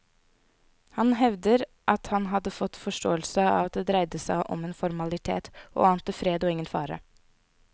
Han hevder at han hadde fått forståelsen av at det dreide seg om en formalitet, og ante fred og ingen fare.